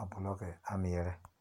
a buloke a mɛɛre